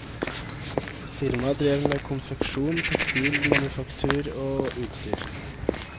Firmaet drev med konfeksjon, tekstil, manufaktur og utstyr.